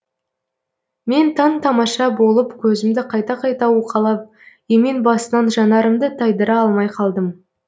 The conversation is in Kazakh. мен таң тамаша болып көзімді қайта қайта уқалап емен басынан жанарымды тайдыра алмай қалдым